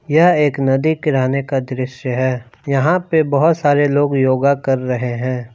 यह एक नदी किराने का दृश्य है यहां पे बहोत सारे लोग योगा कर रहे हैं।